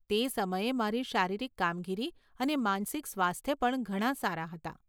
તે સમયે મારી શારીરિક કામગીરી અને માનસિક સ્વાસ્થ્ય પણ ઘણાં સારા હતાં.